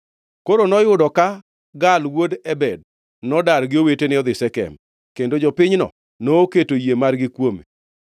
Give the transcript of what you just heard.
Koro noyudo ka Gaal wuod Ebed nodar gi owetene odhi Shekem, kendo jopinyno noketo yie margi kuome.